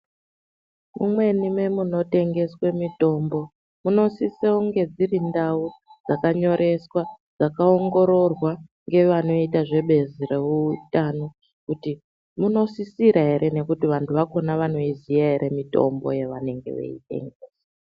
Kumweni Mwemunotengeswe mutombo kunosisonge dziri ndau dzakanyoreswa dzakaongororwa ngevanoita zvebezi reutanonkuti unosisira ere nekuti vantu vakona vanoiziya ere mutombo yavanenge veidemwo.